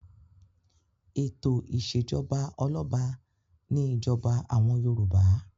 Ètò ìṣèjọba ọlọ́ba ni ìjọba àwọn Yorùbá.